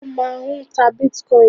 Ó máà ń ta bitcoin.